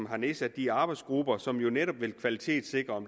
har nedsat de arbejdsgrupper som jo netop vil kvalitetssikre